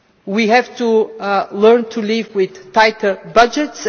We have to learn to live with tighter budgets